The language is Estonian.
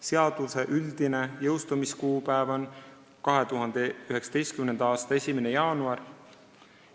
Seaduse üldine jõustumiskuupäev on 2019. aasta 1. jaanuar.